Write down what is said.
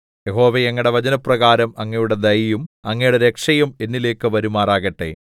യഹോവേ അങ്ങയുടെ വചനപ്രകാരം അങ്ങയുടെ ദയയും അങ്ങയുടെ രക്ഷയും എന്നിലേക്ക് വരുമാറാകട്ടെ